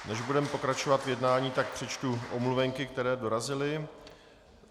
Než budeme pokračovat v jednání, tak přečtu omluvenky, které dorazily.